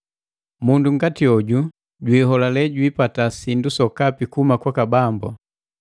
Mundu ngati hoju jwiiholale jwiipata sindu sokapi kuhuma kwaka Bambu.